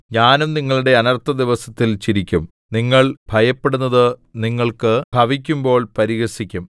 ഞാനും നിങ്ങളുടെ അനർത്ഥദിവസത്തിൽ ചിരിക്കും നിങ്ങൾ ഭയപ്പെടുന്നത് നിങ്ങൾക്ക് ഭവിക്കുമ്പോൾ പരിഹസിക്കും